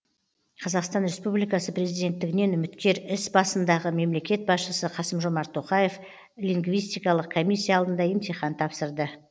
қазақстан республикасы президенттігінен үміткер іс басындағы мемлекет басшысы қасым жомарт тоқаев лингвистикалық комиссия алдында емтихан тапсырды